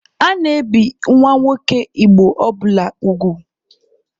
A na-ebi nwa nwoke Igbo ọbụla ugwu.